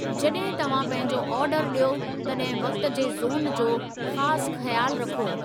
जॾहिं तव्हां पंहिंजो आर्डरु ॾियो तॾहिं वक़्ति जे ज़ोन जो ख़ासि ख़्यालु रखो।